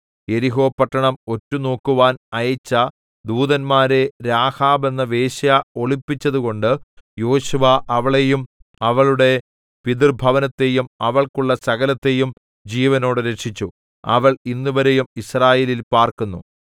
യെരിഹോ പട്ടണം ഒറ്റുനോക്കുവാൻ അയച്ച ദൂതന്മാരെ രാഹാബ് എന്ന വേശ്യ ഒളിപ്പിച്ചതുകൊണ്ട് യോശുവ അവളെയും അവളുടെ പിതൃഭവനത്തെയും അവൾക്കുള്ള സകലത്തെയും ജീവനോടെ രക്ഷിച്ചു അവൾ ഇന്നുവരെയും യിസ്രായേലിൽ പാർക്കുന്നു